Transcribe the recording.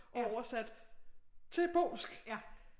Og oversatte til polsk